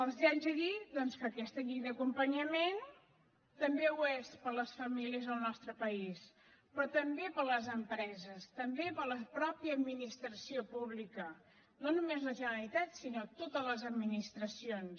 els haig de dir doncs que aquesta llei d’acompanyament també ho és per a les famílies al nostre país però també per a les empreses també per a la mateixa administració pública no només la generalitat sinó totes les administracions